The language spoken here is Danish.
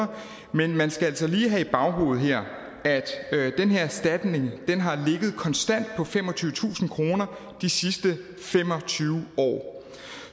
men man skal altså lige have i baghovedet her at den her erstatning har ligget konstant på femogtyvetusind kroner de sidste fem og tyve år